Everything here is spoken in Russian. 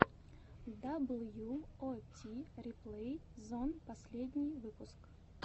дабл ю о ти реплей зон последний выпуск